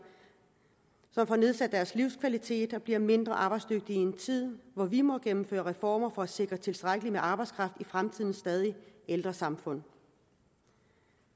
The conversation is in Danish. som får nedsat deres livskvalitet og bliver mindre arbejdsdygtige i en tid hvor vi må gennemføre reformer for at sikre tilstrækkeligt med arbejdskraft i fremtidens stadig ældre samfund